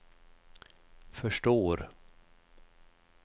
förstår